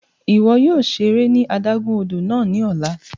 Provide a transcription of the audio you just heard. Iwọ yóò ṣere ní adágún odò náà ni ọla!